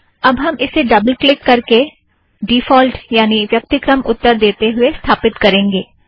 अब हम इसे डबल क्लिक करके और डिफ़ॉल्ट यानि व्यक्तिक्रम उत्तर देते हुए स्थापित करेंगे